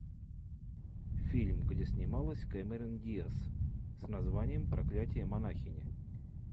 фильм где снималась кэмерон диаз с названием проклятие монахини